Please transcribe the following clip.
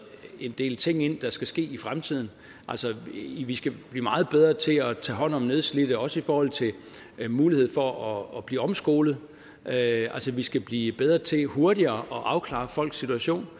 en del ting ind der skal ske i fremtiden altså vi skal blive meget bedre til at tage hånd om nedslidte også i forhold til muligheden for at blive omskolet altså vi skal blive bedre til hurtigere at afklare folks situation